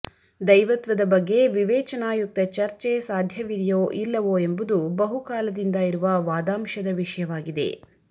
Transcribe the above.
ದೈವತ್ವದ ಬಗ್ಗೆ ವಿವೇಚನಾಯುಕ್ತ ಚರ್ಚೆ ಸಾಧ್ಯವಿದೆಯೋ ಇಲ್ಲವೋ ಎಂಬುದು ಬಹುಕಾಲದಿಂದ ಇರುವ ವಾದಾಂಶದ ವಿಷಯವಾಗಿದೆ